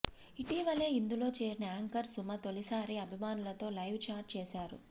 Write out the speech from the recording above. ఇటీవలే ఇందులో చేరిన యాంకర్ సుమ తొలిసారి అభిమానులతో లైవ్ చాట్ చేశారు